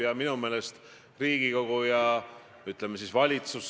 Te sisuliselt ütlete, et te ei taha elada Eesti Vabariigis.